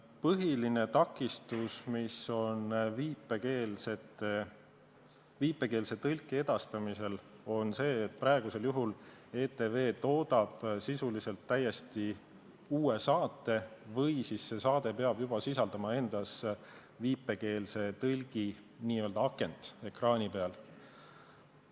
Põhiline takistus, mis on viipekeelse tõlke edastamisel, on see, et praegu ETV toodab sisuliselt täiesti uue saate või see saade peab juba sisaldama endas viipekeeletõlgi n-ö akent ekraani peal.